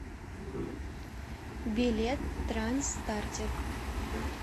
билет транс стартер